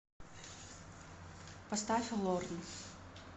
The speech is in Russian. поставь лорн